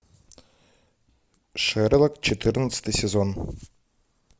шерлок четырнадцатый сезон